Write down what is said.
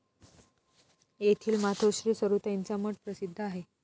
येथील मातोश्री सरुताईंचा मठ प्रसिद्ध आहे.